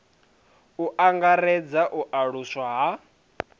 u angaredza u aluswa ha